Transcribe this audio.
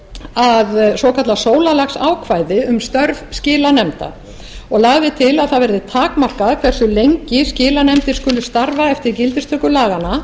að svokallað sólarlagsákvæði um störf skilanefnda og lagði til að það yrði takmarka hversu lengi skilanefndir skuli starfa eftir gildistöku laganna